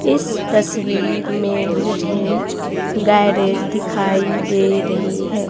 इस तस्वीर में मुझे गैरेज दिखाई दे रही है।